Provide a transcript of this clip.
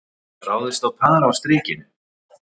Ráðist á par á Strikinu